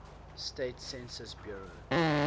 states census bureau